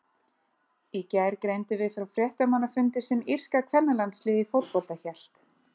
Í gær greindum við frá fréttamannafundi sem írska kvennalandsliðið í fótbolta hélt.